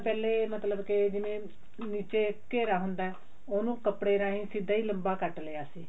ਪਹਿਲੇ ਮਤਲਬ ਕੇ ਜਿਵੇਂ ਵਿੱਚ ਘੇਰਾ ਹੁੰਦਾ ਉਹਨੂੰ ਕੱਪੜੇ ਰਾਹੀ ਸਿੱਧਾ ਹੀ ਲੰਬਾ ਕੱਟ ਲਿਆ ਸੀ